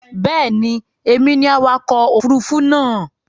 Bẹ́ẹ̀ ni, èmi ni awakọ̀ òfurufú náà.